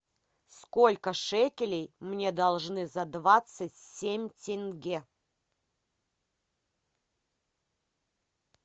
сколько шекелей мне должны за двадцать семь тенге